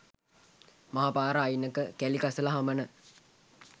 මහ පාර අයිනක, කැළි කසල හමන